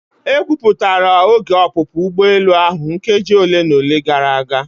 Ekwupụtara oge ọpụpụ ugbọelu ahụ nkeji ole na ole gara aga.